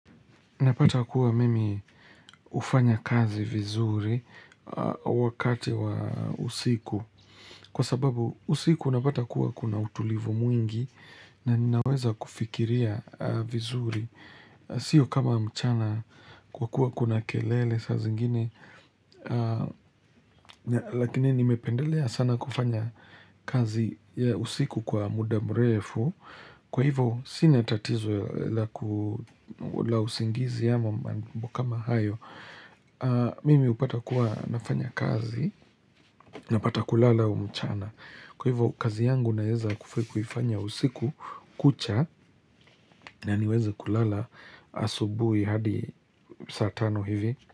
Napata kuwa mimi hufanya kazi vizuri wakati wa usiku Kwa sababu usiku napata kuwa kuna utulivu mwingi na ninaweza kufikiria vizuri Sio kama mchana kwa kuwa kuna kelele saa zingine Lakini nimependelea sana kufanya kazi ya usiku kwa mudamrefu Kwa hivo sinatatizo la usingizi ama mambo kamahayo Mimi upata kuwa nafanya kazi na pata kulala huu mchana Kwa hivyo kazi yangu naweza kuifanya usiku kucha na niweze kulala asubuhi hadi saa tano hivi.